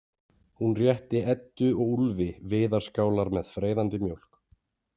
Hún rétti Eddu og Úlfi viðarskálar með freyðandi mjólk.